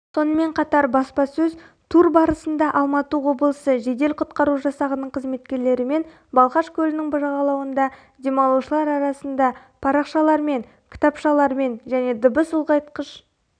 сонымен қатар баспасөз тур барысында алматы облысы жедел құтқару жасағының қызметкерлерімен балхаш көлінің жағалауында демалушылар арасында парақшалармен кітапшалармен және дыбыс ұлғайтқыш